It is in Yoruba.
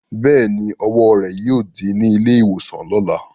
Bẹ́ẹ̀ni, ọwọ́ rẹ̀ yóò dí ní ilé-ìwòsàn lọ̀la.